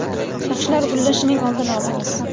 Sochlar “gullashi”ning oldini olamiz.